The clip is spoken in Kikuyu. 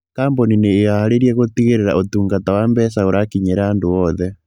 Kambuni nĩ ĩĩhaarĩirie gũtigĩrĩra ũtungata wa mbeca ũrakinyĩra andũ othe.